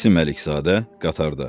İsmayıl Əlizadə qatarda.